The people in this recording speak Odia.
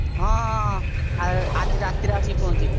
ହଁ ହଁ ହଁ ଆ~ ଆଜି ରାତିରେ ଆସିକି ପହଁଞ୍ଚିଲି।